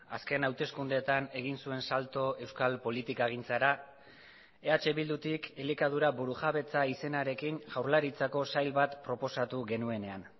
azken hauteskundeetan egin zuen salto euskal politikagintzara eh bildutik elikadura burujabetza izenarekin jaurlaritzako sail bat proposatu genuenean